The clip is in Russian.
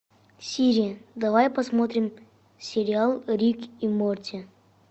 сири давай посмотрим сериал рик и морти